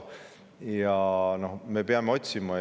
Me peame otsima.